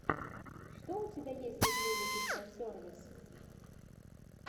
что у тебя есть из музыки про сервис